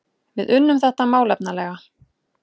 Við unnum þetta málefnalega